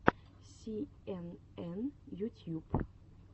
си эн эн ютьюб